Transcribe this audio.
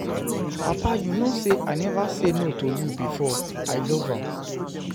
Papa you no say I never say no to you before, I love am.